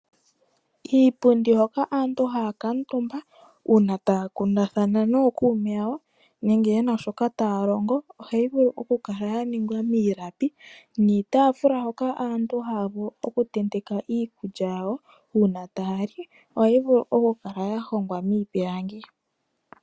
Iipundi hoka aantu hakatumba una taya kundathana nokuume yayo nenge yena shoka tayalongo ohayi vulu okukala yaningwa milapi niitafula hoka aantu havulu oku teteka iikulya yawo una tayali ohayi vulu okukala yahongwa mipilangi.